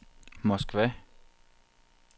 Moskva